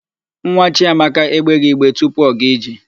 Nwa Chiamaka egbeghị igbe tupu ọ gaa ije.